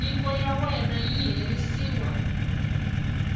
nyiko ya wena yi herisiwa